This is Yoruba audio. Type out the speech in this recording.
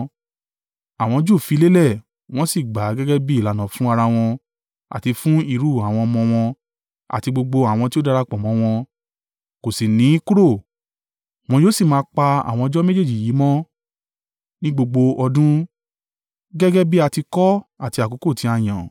àwọn Júù fi lélẹ̀, wọ́n sì gbà á gẹ́gẹ́ bí ìlànà fún ara wọn àti fún irú àwọn ọmọ wọn àti gbogbo àwọn tí ó darapọ̀ mọ́ wọn, kò sì ní kúrò, wọn yóò sì máa pa àwọn ọjọ́ méjèèjì yìí mọ́ ní gbogbo ọdún, gẹ́gẹ́ bí a ti kọ ọ́ àti àkókò tí a yàn.